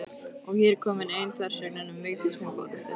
Og er hér komin ein þversögnin um Vigdísi Finnbogadóttur.